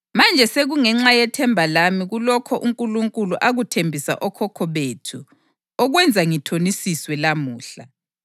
Manje sekungenxa yethemba lami kulokho uNkulunkulu akuthembisa okhokho bethu okwenza ngithonisiswe lamuhla.